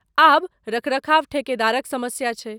आब रख रखाव ठेकेदारक समस्या छै।